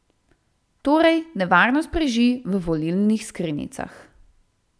Torej, nevarnost preži v volilnih skrinjicah.